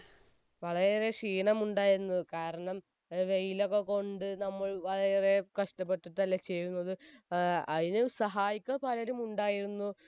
വളരെ ഏറെ ക്ഷീണമുണ്ടായിരുന്നു കാരണം വെയിലൊക്കെ കൊണ്ട് നമ്മൾ വളരെ ഏറെ കഷ്ടപെട്ടിട്ടല്ലേ ചെയ്യുന്നത് ഏർ അയിന് സഹായിക്കാൻ പലരുംമുണ്ടായിരുന്നു